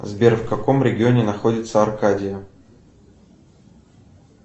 сбер в каком регионе находится аркадия